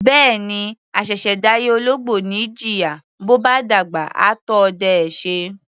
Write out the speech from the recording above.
Bẹ́ẹ̀ni, àṣẹ̀ṣẹ̀ dáyé ológbò ni í jìyà, bó bá dàgbà, á tó ọdẹ ẹ́ ṣe.